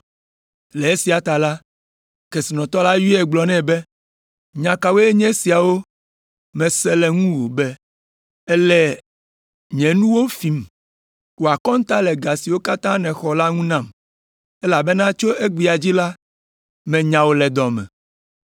“Le esia ta la, kesinɔtɔ la yɔe gblɔ nɛ be, ‘Nya kawoe nye esiawo mese le ŋuwò be èle nye nuwo fim? Wɔ akɔnta le ga siwo katã nèxɔ la ŋu nam, elabena tso egbea dzi la, menya wò le dɔ me.’